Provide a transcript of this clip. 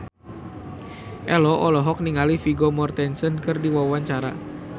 Ello olohok ningali Vigo Mortensen keur diwawancara